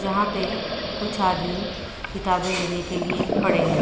यहाँ पे कुछ आदमी किताबें लेने के लिये खड़े है।